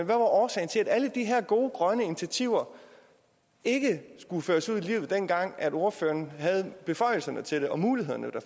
var årsagen til at alle de her gode grønne initiativer ikke skulle føres ud i livet dengang ordføreren havde beføjelserne til det og muligheden